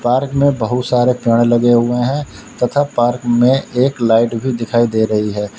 Park में बहुत सारे पेड़ लगे हुए हैं तथा पार्क में एक लाइट भी दिखाई दे रही है।